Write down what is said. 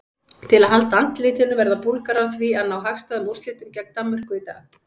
Til að halda andlitinu verða Búlgarar því að ná hagstæðum úrslitum gegn Danmörku í dag.